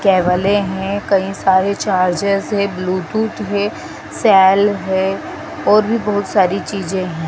Cables हैं कई सारे चार्जर्स है ब्लूटूथ है सैल है और भी बहुत सारी चीजे है।